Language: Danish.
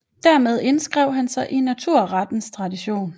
Dermed indskrev han sig i naturrettens tradition